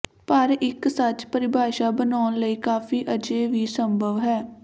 ਪਰ ਇੱਕ ਸੱਚ ਪਰਿਭਾਸ਼ਾ ਬਣਾਉਣ ਲਈ ਕਾਫ਼ੀ ਅਜੇ ਵੀ ਸੰਭਵ ਹੈ